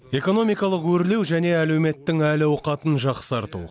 экономикалық өрлеу және әлеуметтің әл ауқатын жақсарту